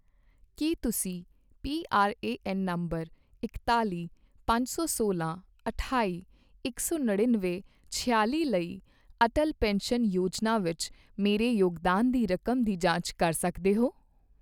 ਕੀ ਤੁਸੀਂ PRAN number ਇਕਤਾਲ਼ੀ, ਪੰਜ ਸੌ ਸੋਲਾਂ, ਅਠਾਈ, ਇਕ ਸੌ ਨੜਿੱਨਵੇਂ, ਛਿਆਲ਼ੀ ਲਈ ਅਟਲ ਪੈਨਸ਼ਨ ਯੋਜਨਾ ਵਿੱਚ ਮੇਰੇ ਯੋਗਦਾਨ ਦੀ ਰਕਮ ਦੀ ਜਾਂਚ ਕਰ ਸਕਦੇ ਹੋ?